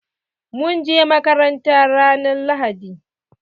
Mun je makaranta ran lahadi.